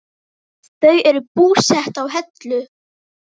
Þau eru búsett á Hellu.